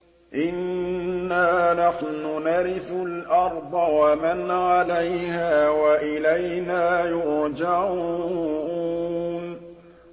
إِنَّا نَحْنُ نَرِثُ الْأَرْضَ وَمَنْ عَلَيْهَا وَإِلَيْنَا يُرْجَعُونَ